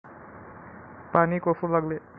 पाणी कोसळू लागले.